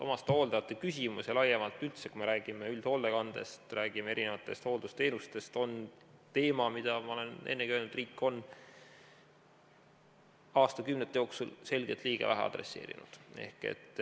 Omastehooldajate küsimus ja laiemalt üldse see, kui me räägime üldhoolekandest, räägime erinevatest hooldusteenustest, on teema, mida, ma olen ennegi öelnud, riik on aastakümnete jooksul selgelt liiga vähe adresseerinud.